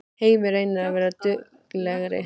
Heimir: Reynið að vera duglegri?